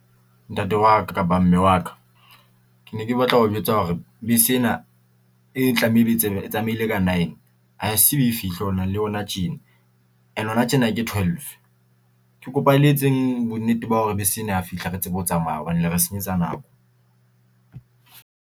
Ntate wa ka kapa mme wa ka, ke ne ke batla ho jwetsa hore bese ena e e tlameile ka nine. Ha se e fihle hona le hona tjena, and hona tjena ke twelve. Ke kopa le etseng bonnete ba hore bese ena ha fihla re tsebe ho tsamaya hobane le re senyetsa nako.